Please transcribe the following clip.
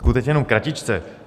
Skutečně jenom kratičce.